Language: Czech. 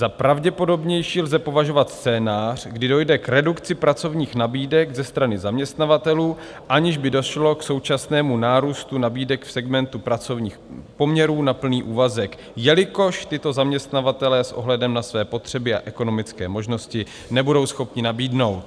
Za pravděpodobnější lze považovat scénář, kdy dojde k redukci pracovních nabídek ze strany zaměstnavatelů, aniž by došlo k současnému nárůstu nabídek v segmentu pracovních poměrů na plný úvazek, jelikož tyto zaměstnavatelé s ohledem na své potřeby a ekonomické možnosti nebudou schopni nabídnout.